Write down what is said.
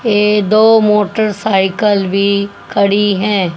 ये दो मोटरसाइकिल भी खड़ी हैं।